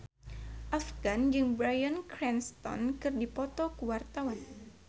Afgan jeung Bryan Cranston keur dipoto ku wartawan